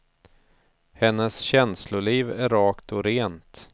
Hennes känsloliv är rakt och rent.